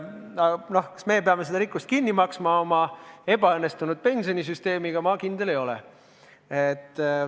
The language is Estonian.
Aga kas meie peame seda rikkust kinni maksma oma ebaõnnestunud pensionisüsteemiga, selles ma kindel ei ole.